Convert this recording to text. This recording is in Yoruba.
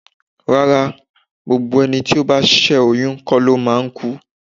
Rárá, gbogbo ẹni tí ó bá ṣé oyún kó lo máa ń kú.